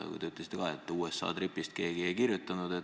Te ütlesite ka, et teie USA tripist keegi ei kirjutanud.